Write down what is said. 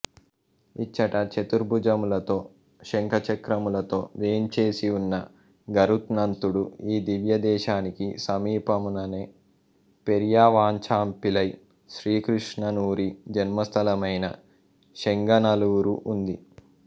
ఇచ్చట చతుర్భుజములతో శంఖచక్రములతో వేంచేసియున్న గరుత్నంతుడు ఈ దివ్య దేశానికి సమీపముననే పెరియవాచాంపిళ్ళై శ్రీకృష్ణసూరి జన్మస్థలమైన శెంగనల్లూరు ఉంది